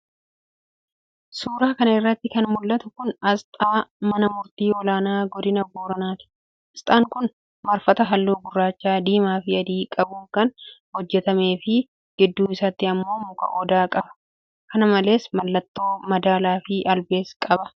Suura kana irratti kan mul'atu kun, asxaa mana murtii olaanaa godina Booranaati. Asxaan kun, marfata haalluu gurracha ,diimaa fi adii qabuun kan hojjatamee fi gidduu isaatti ammoo muka odaa qaba. Kana malees, mallattoo madaalaa fi albees qaba.